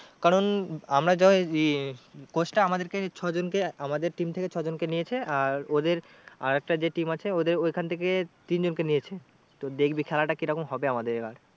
কারণ আমরা যই ইয়ে coach টা আমাদের ছয় জনকে আমাদের team থেকে ছয় জনকে নিয়েছে আর ওদের আর একটা যে team আছে ওদের ওখান থেকে তিন জনকের নিয়েছে। তো দেখবি খেলাটা কি রকম হবে আমাদের এবার